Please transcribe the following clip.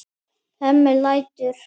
Hemmi lætur.